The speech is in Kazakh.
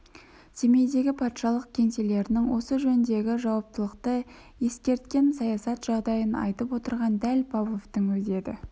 семейдегі патшалық кеңселерінің осы жөндегі жауаптылығын ескерткен саясат жағдайын айтып отырған дәл павловтың өзі еді